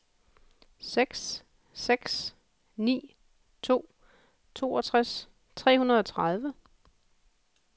seks seks ni to toogtres tre hundrede og tredive